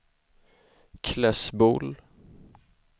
Klässbol